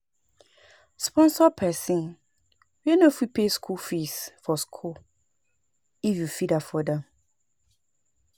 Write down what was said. Sponsor persin wey no fit pay school fees for school if you fit afford am